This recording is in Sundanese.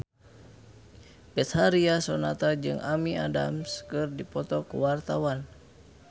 Betharia Sonata jeung Amy Adams keur dipoto ku wartawan